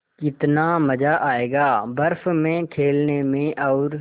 कितना मज़ा आयेगा बर्फ़ में खेलने में और